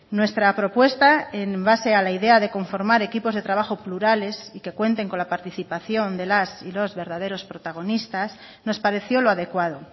nuestra propuesta en base a la idea de conformar equipos de trabajo plurales que cuenten con la participación de las y los verdaderos protagonistas nos pareció lo adecuado